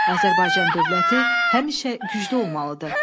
Azərbaycan dövləti həmişə güclü olmalıdır.